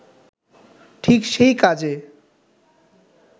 ঠিক সেই কাজে